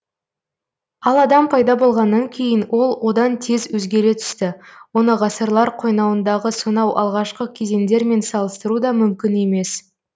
ал адам пайда болғаннан кейін ол одан тез өзгере түсті оны ғасырлар қойнауындағы сонау алғашқы кезеңдермен салыстыру да мүмкін емес